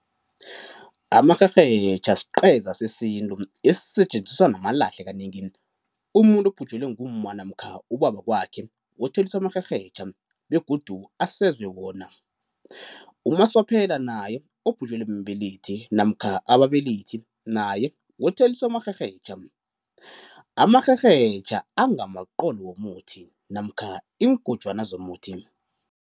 Amarherhetjha sqeza sesintu esisetjenziswa namalahle kanengi. Umuntu obhujelwe ngumma namkha ubaba wakwakhe wotheliswa amarherhetjha begodu asezwe wona. Umaswaphela naye obhujelwe mbelethi namkha ababelethi naye wotheliswa amarherhetjha. Amarherhetjha angamaqolo womuthi namkha iingojwana zomuthi.